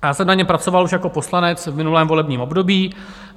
Já jsem na něm pracoval už jako poslanec v minulém volebním období.